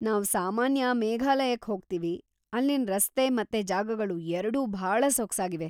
ನಾವ್‌ ಸಾಮಾನ್ಯ ಮೇಘಾಲಯಕ್ ಹೋಗ್ತೀವಿ, ಅಲ್ಲಿನ್ ರಸ್ತೆ ಮತ್ತೆ ಜಾಗಗಳು ಎರ್ಡೂ ಭಾಳ ಸೊಗ್ಸಾಗಿವೆ.